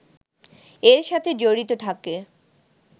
এর সাথে জড়িত থাকে